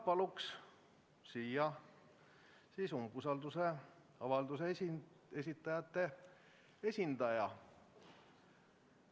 Palun siia umbusaldusavalduse esitajate esindaja.